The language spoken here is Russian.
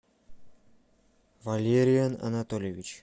валериан анатольевич